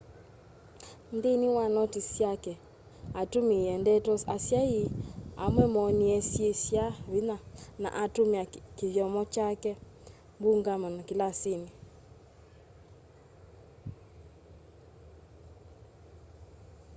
nthini wa notis syake atumiie ndeto asyai amwe moonie syi sya vinya na atumia kithyomo kya mbumangano kilasini